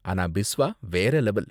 ஆனா பிஸ்வா வேற லெவல்.